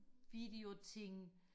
video ting